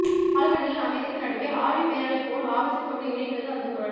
ஆழ்கடலின் அமைதிக்கு நடுவே ஆழி பேரலை போல் ஆவேசத்தோடு எழுகிறது அந்த குரல்